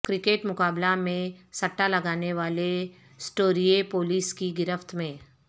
cricket مقبلہ میں سٹہ لگانے والے سٹوریے پولس کی گرفت میں